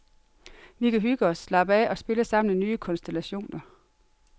Vi kan hygge os, slappe af og spille sammen i nye konstellationer.